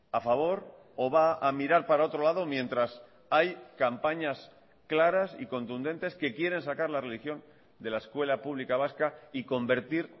a favor o va a mirar para otro lado mientras hay campañas claras y contundentes que quieren sacar la religión de la escuela pública vasca y convertir